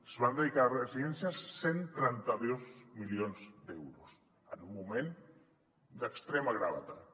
es van dedicar a residències cent i trenta dos milions d’euros en un moment d’extrema gravetat